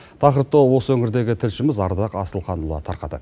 тақырыпты осы өңірдегі тілшіміз ардақ асылханұлы тарқатады